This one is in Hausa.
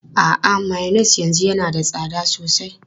A'a, mayonnaise yanzu yana da tsada sosai.